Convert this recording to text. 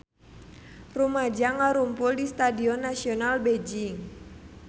Rumaja ngarumpul di Stadion Nasional Beijing